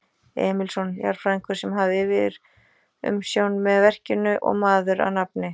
Emilsson, jarðfræðingur, sem hafði yfirumsjón með verkinu og maður að nafni